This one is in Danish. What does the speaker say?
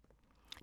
DR1